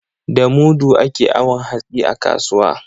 Da mudu ake awon hatsi a kasuwa.